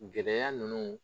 Gɛlɛya nunnu